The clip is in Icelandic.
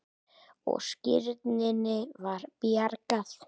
Og skírninni var bjargað.